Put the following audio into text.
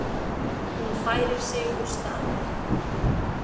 Hún færir sig úr stað.